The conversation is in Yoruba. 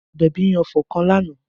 Abebi ń ọfọ̀ kan lánà.